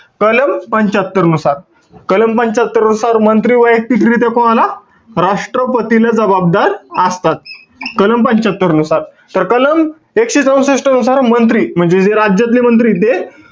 कलम पंच्यात्तरानुसार. कलम पंच्यात्तरानुसार मंत्री वैयक्तिकरित्या कोणाला? राष्ट्रपतीला जबाबदार असतात. कलम पंच्यात्तरानुसार. तर कलम एकशे चौसष्ट नुसार मंत्री, म्हणजे जे राज्यातले मंत्रीय ते,